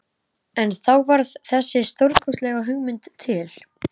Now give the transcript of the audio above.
En þá varð þessi stórkostlega hugmynd til.